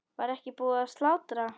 Var ekki búið að slátra?